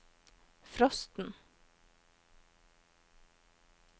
frosten